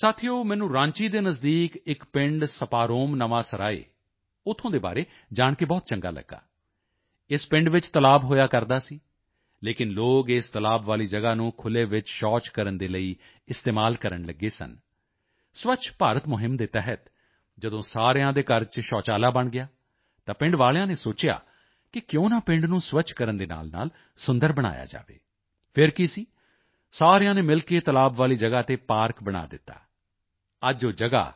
ਸਾਥੀਓ ਮੈਨੂੰ ਰਾਂਚੀ ਦੇ ਨਜ਼ਦੀਕ ਇੱਕ ਪਿੰਡ ਸਪਾਰੋਮ ਨਵਾਂ ਸਰਾਏ ਉੱਥੇ ਦੇ ਬਾਰੇ ਜਾਣ ਕੇ ਬਹੁਤ ਚੰਗਾ ਲੱਗਿਆ ਇਸ ਪਿੰਡ ਵਿੱਚ ਤਲਾਬ ਹੋਇਆ ਕਰਦਾ ਸੀ ਲੇਕਿਨ ਲੋਕ ਇਸ ਤਲਾਬ ਵਾਲੀ ਜਗ੍ਹਾ ਨੂੰ ਖੁੱਲ੍ਹੇ ਵਿੱਚ ਸ਼ੌਚ ਕਰਨ ਦੇ ਲਈ ਇਸਤੇਮਾਲ ਕਰਨ ਲੱਗੇ ਸਨ ਸਵੱਛ ਭਾਰਤ ਮੁਹਿੰਮ ਦੇ ਤਹਿਤ ਜਦੋਂ ਸਾਰਿਆਂ ਦੇ ਘਰ ਚ ਸ਼ੌਚਾਲਾ ਬਣ ਗਿਆ ਤਾਂ ਪਿੰਡ ਵਾਲਿਆਂ ਨੇ ਸੋਚਿਆ ਕਿ ਕਿਉਂ ਨਾ ਪਿੰਡ ਨੂੰ ਸਵੱਛ ਕਰਨ ਦੇ ਨਾਲਨਾਲ ਸੁੰਦਰ ਬਣਾਇਆ ਜਾਵੇ ਫਿਰ ਕੀ ਸੀ ਸਾਰਿਆਂ ਨੇ ਮਿਲ ਕੇ ਤਲਾਬ ਵਾਲੀ ਜਗ੍ਹਾ ਤੇ ਪਾਰਕ ਬਣਾ ਦਿੱਤਾ ਅੱਜ ਉਹ ਜਗ੍ਹਾ